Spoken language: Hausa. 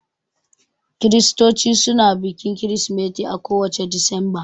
Kiristoci suna bikin kirismeti a ko wacce Disamba